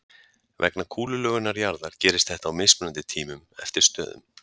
Vegna kúlulögunar jarðar gerist þetta á mismunandi tímum eftir stöðum.